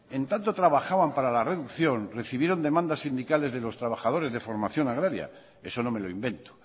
en tanto trabajaban para la reducción recibieron demandas sindicales de los trabajadores de formación agraria eso no me lo invento